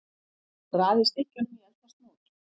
Raðið stykkjunum í eldfast mót.